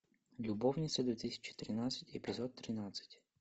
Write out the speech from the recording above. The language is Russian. любовницы две тысячи тринадцать эпизод тринадцать